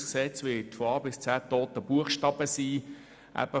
Das BKWG wird von A bis Z aus toten Buchstaben bestehen.